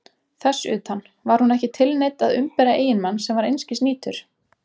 Þess utan: var hún ekki tilneydd að umbera eiginmann sem var einskis nýtur?